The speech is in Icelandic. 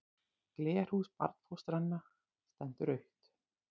Glerhús barnfóstranna stendur autt.